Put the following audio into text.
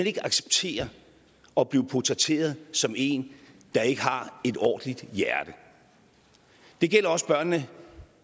ikke acceptere at blive portrætteret som en der ikke har et ordentligt hjerte det gælder også børnene